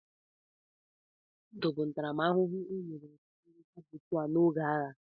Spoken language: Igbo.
Olili na ndụ bụ ntaramahụhụ e nyere ọtụtụ ndị sabọtua n'oge agha.